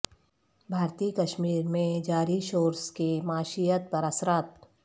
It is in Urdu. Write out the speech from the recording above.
بھارتی کشمیر میں جاری شورش کے معیشت پر اثرات